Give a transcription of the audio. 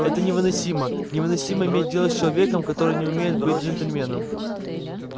это невыносимо невыносимо иметь дело с человеком который не умеет быть джентльменом